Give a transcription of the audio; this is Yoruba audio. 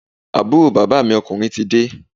Àbúrò bàbá mi ọ̣kùnrin ti dé